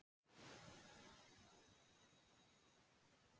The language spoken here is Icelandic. Róbert hugðist senda vinkonu sinni kort með pósti